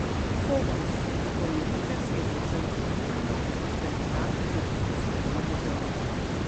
Fokus spomenika se je začel pretirano utrjevati na drugi svetovni vojni.